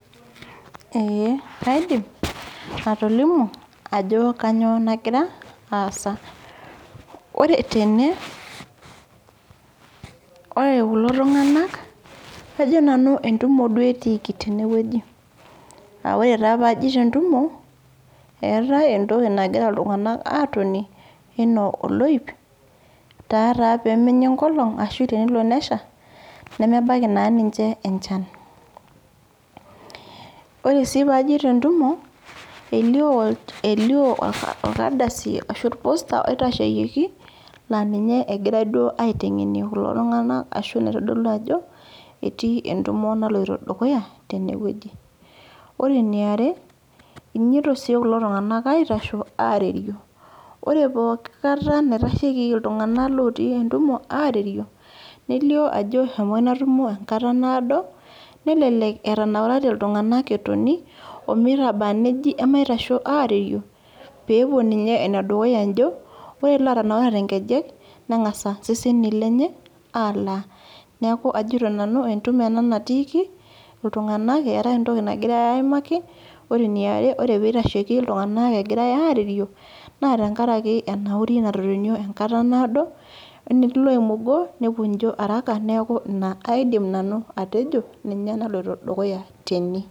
Ee kaidim, atolimu ajo kanyioo nagira aasa. Ore tene, ore kulo tung'anak, kajo nanu entumo duo etiiki tenewueji. Ah ore taa pajito entumo, eetae entoki nagira iltung'anak atonie, enaa oloip, ta taa pemenya enkolong, ashu tenelo nesha, nemebaiki naa ninche enchan. Ore si pajito entumo, elio orkadasi ashu or poster oitasheyieki, la ninye egirai duo aiteng'enie kulo tung'anak ashu naitodolu ajo, etii entumo naloito dukuya, tenewueji. Ore eniare, inyito si kulo tung'anak aitasho, arerio. Ore pooki kata naitashei iltung'anak lotii entumo arerio, nelio ajo eshomo ina tumo enkata naado, nelelek etanaurate iltung'anak etoni, omitaba neji emaitasho arerio, pepuo ninye enedukuya ijo, ore lotanaurate nkejek, neng'asa iseseni lenye, alaa. Neeku ajito nanu entumo ena natiiki, iltung'anak eetae entoki nagirai aimaki, ore eniare ore pitasheki iltung'anak egirai arerio, naa tenkaraki enauri natotonio enkata naado, enetii loimugo, nepuo ijo araka, neeku ina aidim nanu atejo, ninye naloito dukuya tene.